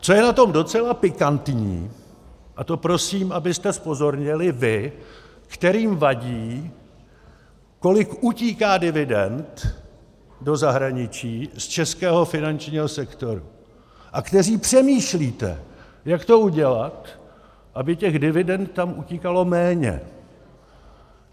Co je na tom docela pikantní, a to prosím, abyste zpozornili vy, kterým vadí, kolik utíká dividend do zahraničí z českého finančního sektoru, a kteří přemýšlíte, jak to udělat, aby těch dividend tam utíkalo méně.